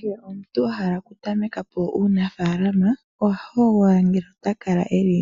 Kehe omuntu ahala okutameka po uunafaalama oho hogolola ngele oto kala eli